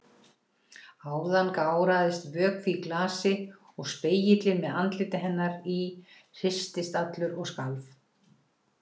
Áðan gáraðist vökvi í glasi og spegillinn með andliti hennar í hristist allur og skalf.